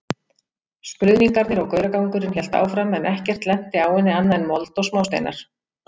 Skruðningarnar og gauragangurinn hélt áfram en ekkert lenti á henni annað en mold og smásteinar.